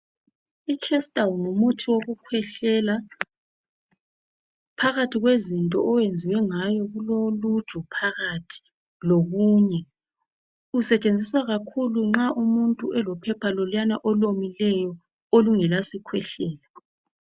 Ichestal ngumuthi wokukhwehlela phakathi kwezinto owenziwe ngawo kuloluju phakathi lokunye. Kusetshenziswa kakhulu nxa umuntu elophepha loluyana olomileyo olungela sikhwehlela.